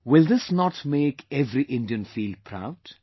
Will this not make every Indian feel proud